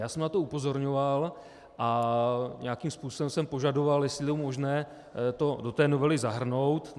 Já jsem na to upozorňoval a nějakým způsobem jsem požadoval, jestli je možné to do té novely zahrnout.